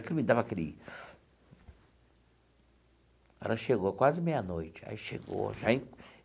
Aquilo me dava aquele... Ela chegou quase meia-noite, aí chegou já.